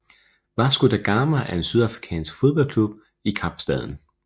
Vasco da Gama er en sydafrikansk fodboldklub i Kapstaden